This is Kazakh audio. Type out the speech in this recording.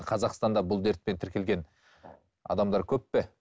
қазақстанда бұл дертпен тіркелген адамдар көп пе